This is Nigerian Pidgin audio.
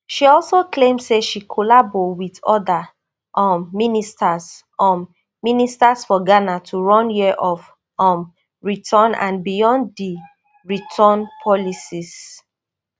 she also claim say she collabo wit oda um ministers um ministers for ghana to run year of um return and beyond di return policies